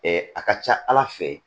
a ka ca ala fɛ